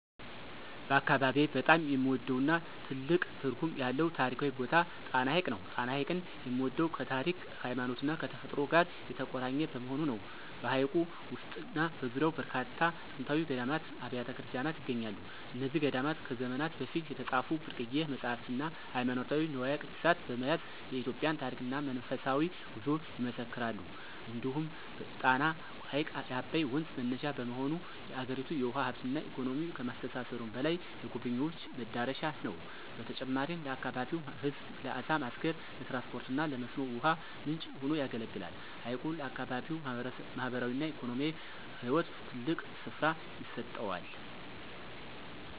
በአካባቢዬ በጣም የምወደውና ትልቅ ትርጉም ያለው ታሪካዊ ቦታ ጣና ሐይቅ ነው። ጣና ሐይቅን የምወደው ከታሪክ፣ ከሃይማኖትና ከተፈጥሮ ጋር የተቆራኘ በመሆኑ ነው። በሐይቁ ውስጥና በዙሪያው በርካታ ጥንታዊ ገዳማትና አብያተ ክርስቲያናት ይገኛሉ። እነዚህ ገዳማት ከዘመናት በፊት የተጻፉ ብርቅዬ መጻሕፍትና ሃይማኖታዊ ንዋየ ቅድሳት በመያዝ የኢትዮጵያን ታሪክና መንፈሳዊ ጉዞ ይመሰክራሉ። እንዲሁም ጣና ሐይቅ የአባይ ወንዝ መነሻ በመሆኑ፣ የአገሪቱን የውሃ ሀብትና ኢኮኖሚ ከማስተሳሰሩም በላይ፣ የጎብኝዎች መዳረሻ ነው። በተጨማሪም ለአካባቢው ሕዝብ ለዓሣ ማስገር፣ ለትራንስፖርትና ለመስኖ ውሃ ምንጭ ሆኖ ያገለግላል። ሐይቁ ለአካባቢው ማኅበራዊና ኢኮኖሚያዊ ሕይወት ትልቅ ስፍራ ይሰጠዋል።